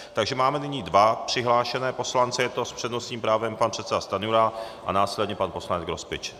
Takže nyní máme dva přihlášené poslance, je to s přednostním právem pan předseda Stanjura a následně pan poslanec Grospič.